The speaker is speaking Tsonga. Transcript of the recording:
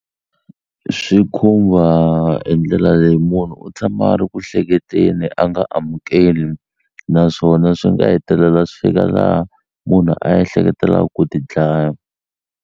Swi khumba hi ndlela leyi munhu u tshama a ri ku hleketeni a nga amukeli naswona swi nga hetelela swi fika laha munhu a ehleketelaku ku ti dlaya.